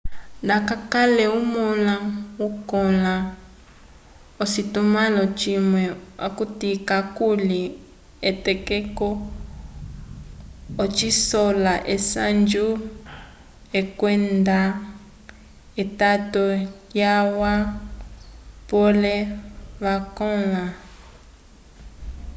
nda kakwakalele omõla okõla v'ocitumãlo cimwe okuti kakuli etokeko ocisola esanju kwenda etato lyalwa pole vakõla